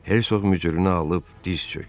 Hersoq mücrünü alıb diz çökdü.